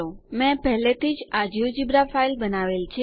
મેં પહેલેથી જ આ જિયોજેબ્રા ફાઈલ બનાવેલ છે